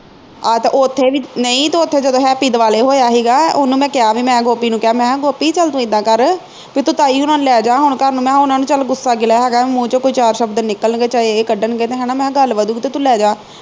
ਆਹ ਤੇ ਉਥੇ ਵੀ ਨਹੀ ਤੇ ਉਥੇ ਜਦੋਂ ਹੈਪੀ ਦੁਆਲੇ ਹੋਇਆ ਹੀਗਾ ਉਹਨੂੰ ਮੈਂ ਕਿਹਾ ਬਈ ਮੈਂ ਗੋਪੀ ਨੂੰ ਕਿਹਾ ਗੋਪੀ ਚੱਲ ਤੂੰ ਇਦਾ ਕਰ ਬਈ ਤੂੰ ਤਾਈ ਹੋਣਾ ਨੂੰ ਲੈ ਜਾ ਹੁਣ ਘਰ ਉਨ੍ਹਾਂ ਨੂੰ ਗੁੱਸਾ ਗਿਲਾ ਹੈਗਾ ਮੂੰਹ ਵਿਚੋਂ ਕੋਈ ਚਾਰ ਸ਼ਬਦ ਨਿਕਲਣਗੇ ਚਾਹੇ ਇਹ ਕੱਢਣਗੇ ਤੇ ਹਣਾ ਮੈਂ ਕਿਹਾ ਗੱਲ ਵਧੂ ਤੇ ਤੂੰ ਲੈ ਜਾ